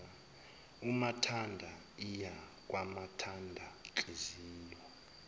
umathanda iya kwamathandanhliziyo